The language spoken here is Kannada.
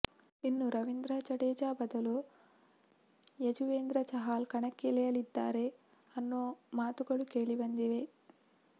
ಇನ್ನು ರವೀಂದ್ರ ಜಡೇಜಾ ಬದಲು ಯಜುವೇಂದ್ರ ಚಹಾಲ್ ಕಣಕ್ಕಿಳಿಯಲಿದ್ದಾರೆ ಅನ್ನೋ ಮಾತುಗಳು ಕೇಳಿಬಂದಿದೆ